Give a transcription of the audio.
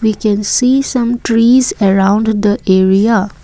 we can see some trees arounded the area.